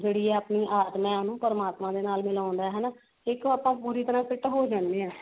ਜਿਹੜੀ ਹੈ ਆਪਣੀ ਆਤਮਾ ਹੈ ਉਹਨੂੰ ਪਰਮਾਤਮਾ ਦੇ ਨਾਲ ਮਿਲਾਉਂਦਾ ਹਨਾ ਦੇਖੋ ਆਪਾਂ ਪੂਰੀ ਤਰਾਂ fit ਹੋ ਜਾਂਦੇ ਹਾਂ